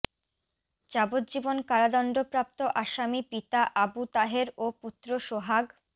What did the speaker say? যাবজ্জীবন কারাদণ্ডপ্রাপ্ত আসামি পিতা আবু তাহের ও পুত্র সোহাগ